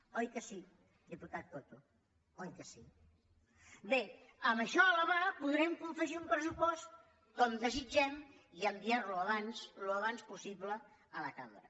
oi que sí diputat coto oi que sí bé amb això a la mà podrem confegir un pressupost com desitgem i enviar lo abans al més aviat possible a la cambra